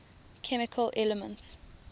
chemical elements